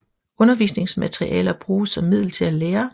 Undervisningsmaterialer bruges som middel til at lære